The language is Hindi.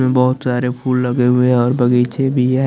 बहोत तारे फुल लगे हुए है और बगीचे भी है।